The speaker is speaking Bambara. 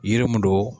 Yiri mun don